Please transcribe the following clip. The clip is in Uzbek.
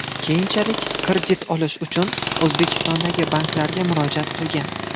Keyinchalik kredit olish uchun O‘zbekistondagi banklarga murojaat qilgan.